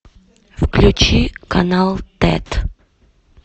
включи канал тет